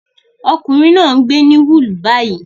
Ọkùnrin náà ń gbé ní Hull báyìí